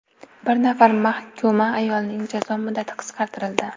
Bir nafar mahkuma ayolning jazo muddati qisqartirildi.